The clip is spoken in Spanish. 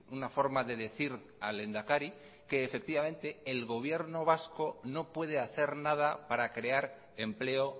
una forma de decir al lehendakari que efectivamente el gobierno vasco no puede hacer nada para crear empleo